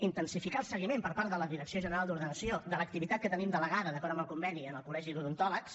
intensificar el seguiment per part de la direcció general d’ordenació de l’activitat que tenim delegada d’acord amb el conveni al col·legi d’odontòlegs